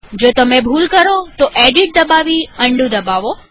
જો તમે ભૂલ કરો તો એડિટ દબાવી અન્ડું દબાવો